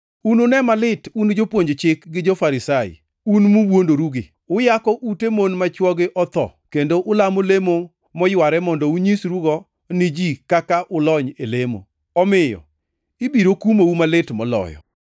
“Unune malit un jopuonj Chik gi jo-Farisai, un muwuondorugi! Uyako ute mon ma chwogi otho, kendo ulamo lemo moyware mondo unyisrugo ni ji kaka ulony e lamo. Omiyo ibiro kumou malit moloyo.] + 23:14 Loko moko mag Muma nigi weche machal gi mantie e \+xt Mar 12:40\+xt* kod \+xt Luk 12:40\+xt*.